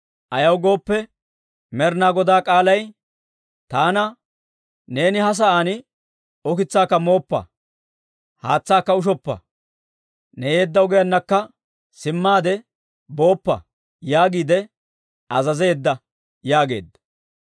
Ayaw gooppe, Med'inaa Goday k'aalay taana, ‹Neeni he sa'aan ukitsaakka mooppa, haatsaakka ushoppa, ne yeedda ogiyaanakka simmaade booppa› yaagiide azazeedda» yaageedda.